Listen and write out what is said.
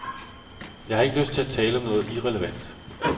Jeg har ikke lyst til at tale om noget irrelevant.